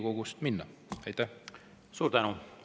Suur tänu!